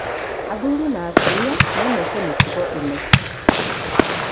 Athuri na atumia no meke mĩtugo ĩno.